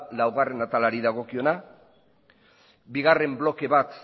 laugarrena atalari dagokiona bigarren bloke bat